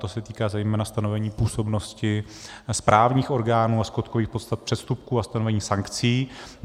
To se týká zejména stanovení působnosti správních orgánů a skutkových podstat přestupků a stanovení sankcí.